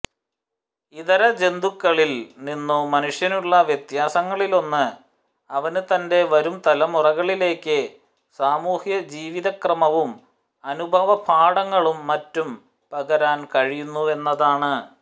ഇതരജന്തുക്കളിൽ നിന്നും മനുഷ്യനുളള വ്യത്യാസങ്ങളിലൊന്ന് അവന് തന്റെ വരുംതലമുറകളിലേക്ക് സാമൂഹ്യജീവിതക്രമവും അനുഭവപാഠങ്ങളും മറ്റും പകരാൻ കഴിയുന്നുവെന്നതാണ്